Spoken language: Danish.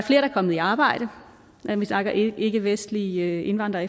kommet i arbejde når vi snakker ikkevestlige indvandrere